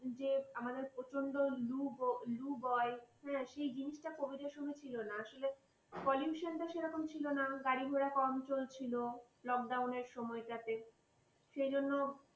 যে আমাদের প্রচন্ড লু বয়। সে জিনিসটা covid এর সময় ছিল না। আসলে pollution টা সেভাবে ছিল না। গাড়ি ঘোড়া কম চলছিল। lockdown নের সময়টাতে সেই জন্য।